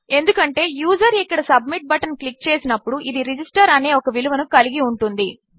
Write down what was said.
ఎందుకంటే యూజర్ఇక్కడసబ్మిట్బటన్క్లిక్చేసినప్పుడు ఇది రిజిస్టర్ అనేఒకవిలువనుకలిగిఉంటుంది